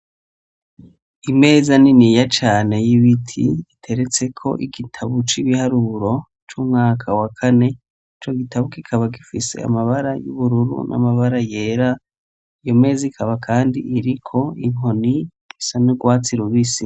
Imeza niniya cane y'ibiti iteretseko igitabu c'ibiharuro c'umwaka wa kane, ico gitabu kikaba gifise amabara y'ubururu n'amabara yera, iyo meza ikaba kandi iriko inkoni isa n'urwatsi rubisi.